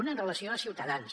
una amb relació a ciutadans